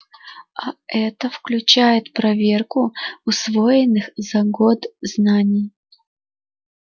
а это включает проверку усвоенных за год знаний